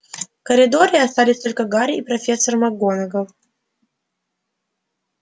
в коридоре остались только гарри и профессор макгонагалл